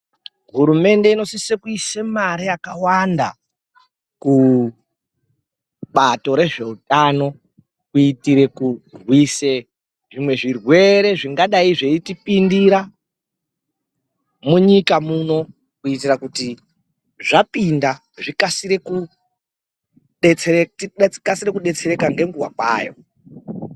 Hurumende inosise kuise mare yakawanda kubato rezveutano kuitire kurwisa zvimwe zvirwere zvingadayi zveitipindira munyika muno kuti zvapinda tikasike kudetsereka ngenguwa kwayo.